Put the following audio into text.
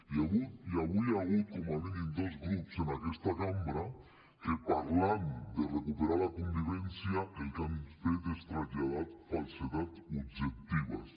i avui hi ha hagut com a mínim dos grups en aquesta cambra que parlant de recuperar la convivència el que han fet és traslladar falsedats objectives